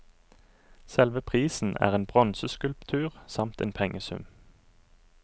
Selve prisen er en bronseskulptur samt en pengesum.